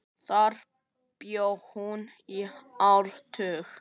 Þar bjó hún í áratug.